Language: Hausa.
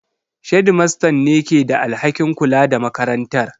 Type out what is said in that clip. Shedimastan ne ke da alhakin kula da makarantar.